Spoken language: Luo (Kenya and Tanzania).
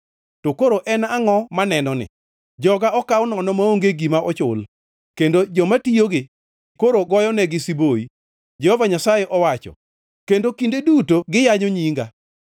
“To koro en angʼo manenoni? “Joga okaw nono maonge gima ochul kendo joma tiyogi koro goyonegi siboi,” Jehova Nyasaye owacho. “Kendo kinde duto giyanyo nyinga.